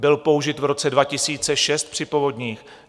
Byl použit v roce 2006 při povodních.